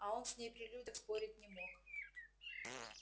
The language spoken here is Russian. а он с ней при людях спорить не мог